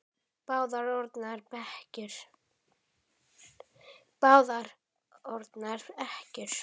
Báðar orðnar ekkjur.